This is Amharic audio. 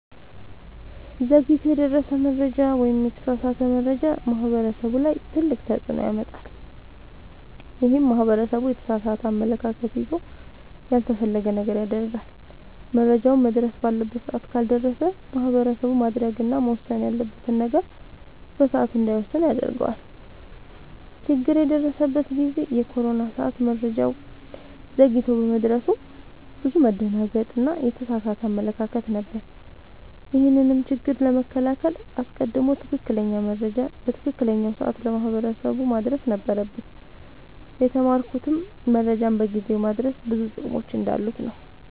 ዘግይቶ የደረሰ መረጃ ወይም የተሳሳተ መረጃ ማህበረሰቡ ላይ ትልቅ ተፅዕኖ ያመጣል። ይህም ማህበረሰቡ የተሳሳተ አመለካከት ይዞ ያልተፈለገ ነገር ያደርጋል። መረጃውም መድረስ ባለበት ሰዓት ካልደረሰ ማህበረሰቡ ማድረግ እና መወሰን ያለበትን ነገር በሰዓቱ እንዳይወስን ያደርገዋል። ችግር የደረሰበት ጊዜ የኮሮና ሰዓት መረጃው ዘግይቶ በመድረሱ ብዙ መደናገጥ እና የተሳሳተ አመለካከት ነበር። ይህንንም ችግር ለመከላከል አስቀድሞ ትክክለኛ መረጃ በትክክለኛው ሰዓት ለማህበረሰቡ ማድረስ ነበረብን። የተማርኩትም መረጃን በጊዜው ማድረስ ብዙ ጥቅሞች እንዳሉት ነወ።